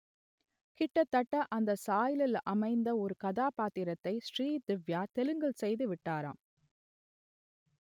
கிட்டத்தட்ட அந்த சாயலில் அமைந்த ஒரு கதாபாத்திரத்தை ஸ்ரீதிவ்யா தெலுங்கில் செய்துவிட்டாராம்